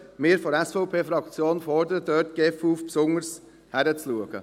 Wir von der SVP-Fraktion fordern die GEF auf, dort besonders hinzuschauen.